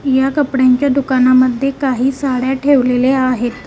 या कपड्यांच्या दुकानांमध्ये काही साड्या ठेवलेल्या आहेत.